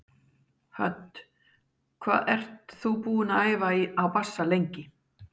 Hödd: Hvað ert þú búinn að æfa á bassa lengi?